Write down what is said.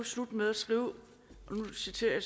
slutter med at skrive og nu citerer jeg